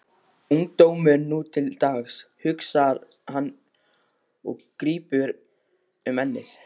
Ungdómurinn nú til dags, hugsar hann og grípur um ennið.